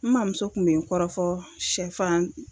N maa muso kun be n kɔrɔfɔ sɛfan